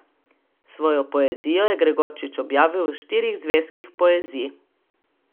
Svojo poezijo je Gregorčič objavil v štirih zvezkih Poezij.